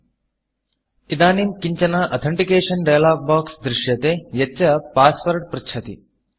इदानीम् किञ्चन authentication dialog box authentication dialog box दृश्यते यच्च Passwordपास्वर्ड पृच्छति